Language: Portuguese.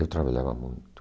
Eu trabalhava muito.